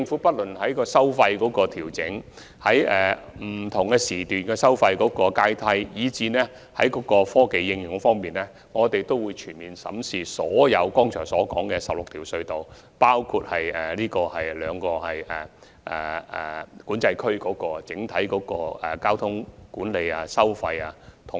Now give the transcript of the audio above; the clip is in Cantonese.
不論在調整收費、釐定不同時段的收費階梯，以至科技應用方面，我們會全面審視剛才提及的所有16條隧道及2個管制區，以制訂整體交通管理及收費安排。